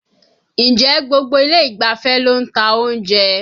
Ǹjẹ́ gbogbo ilé ìgbafẹ́ ló ń ta oúnjẹ?